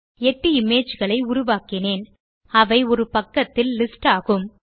8 image களை உருவாக்கினேன் அவை ஒரு பக்கத்தில் லிஸ்ட் ஆகும்